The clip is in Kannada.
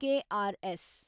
K R S